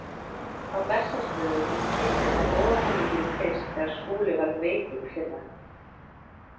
Á Bessastöðum kynntist hún óhamingjunni fyrst þegar Skúli varð veikur í fyrra.